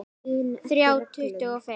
Þrjá tuttugu og fimm